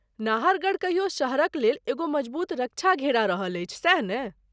नाहरगढ़ कहियो शहरक लेल एगो मजबूत रक्षा घेरा रहल अछि, सैह ने?